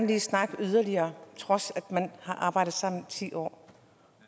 vil snakke yderligere trods af at man har arbejdet sammen i ti år